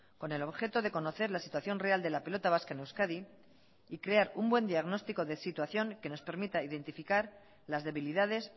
con el objeto de conocer la situación real de la pelota vasca en euskadi y crear un buen diagnóstico de situación que nos permita identificar las debilidades